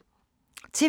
TV 2